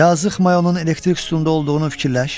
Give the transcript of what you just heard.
Yazıq Mayonun elektrik sütununda olduğunun fikirləş.